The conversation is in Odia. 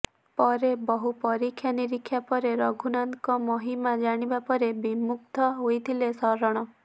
ପରେ ବହୁ ପରୀକ୍ଷା ନିରୀକ୍ଷା ପରେ ରଘୁନାଥଙ୍କ ମହିମା ଜାଣିବା ପରେ ବିମୁଗ୍ଧ ହୋଇଥିଲେ ଶରଣ